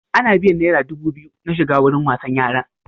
Ana biyan naira dubu biyu na shiga wurin wasan yaran.